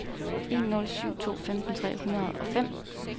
en nul syv to femten tre hundrede og fem